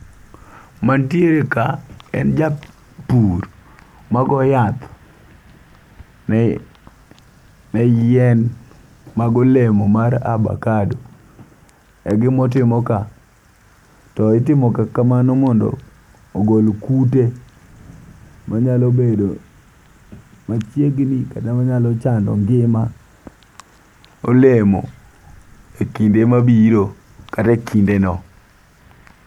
Mantiere ka en japur ma go yath ne ne yien mago olemo mar abakado egimotimo ka . To itimo ga kamano mondo ogol kute minyalo bedo machiegni kata manyalo chando ngima olemo e kinde mabiro kata e kinde no.